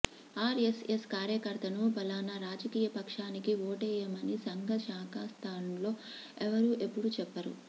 RSS కార్యకర్తను ఫలానా రాజకీయ పక్షానికి ఓటేయమని సంఘ శాఖాస్థాన్లో ఎవ్వరూ ఎప్పుడూ చెప్పరు